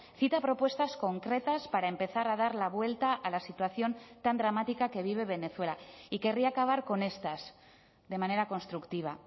cita propuestas concretas para empezar a dar la vuelta a la situación tan dramática que vive venezuela y querría acabar con estas de manera constructiva